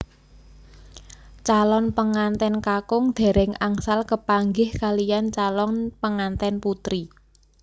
Calon pengantèn kakung dèrèng angsal kepanggih kaliyan calon pengantèn putri